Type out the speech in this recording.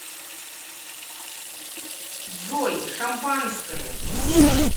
джой шампанское